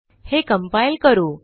हे कंपाइल करू